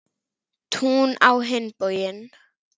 Tún á hinn bóginn.